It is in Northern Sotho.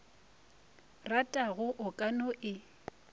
ratago o ka no e